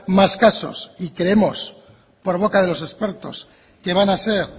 más casos y creemos por boca de los expertos que van a ser